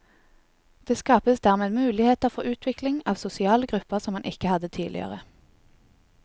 Det skapes dermed muligheter for utvikling av sosiale grupper som man ikke hadde tidligere.